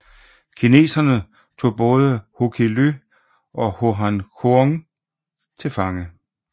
Kineserne tog både Hồ Quý Ly og Hồ Hán Thương til fange